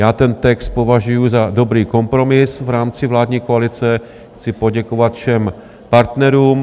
Já ten text považuji za dobrý kompromis v rámci vládní koalice, chci poděkovat všem partnerům.